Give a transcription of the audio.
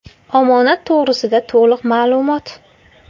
Omonat to‘g‘risida to‘liq ma’lumot .